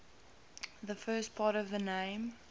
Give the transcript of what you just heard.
the first part of the name